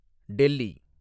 Delhi